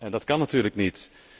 Dat kan natuurlijk niet!